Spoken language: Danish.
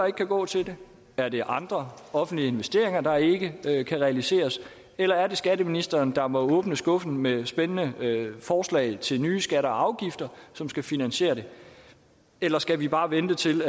ikke kan gå til det er det andre offentlige investeringer der ikke kan realiseres eller er det skatteministeren der må åbne skuffen med spændende forslag til nye skatter og afgifter som skal finansiere det eller skal vi bare vente til